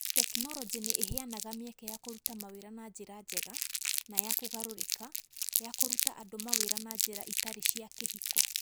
Tekinoronjĩ nĩ ĩheanaga mĩeke ya kũruta mawĩra na njĩra njega na ya kũgarũrĩka ya kũruta andũ mawĩra na njĩra itarĩ cia kĩhiko.